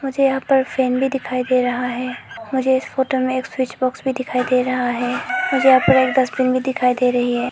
मुझे यहां पर फैमिली दिखाई दे रहा है मुझे इस फोटो में एक स्विच बॉक्स में दिखाई दे रहा है मुझे यहां पर एक डस्टबिन भी दिखाई दे रही है।